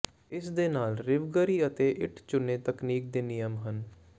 ਇਸ ਦੇ ਨਾਲ ਰਾਿਵਗਰੀ ਅਤੇ ਇੱਟ ਚੂਨੇ ਤਕਨੀਕ ਦੇ ਨਿਯਮ ਹਨ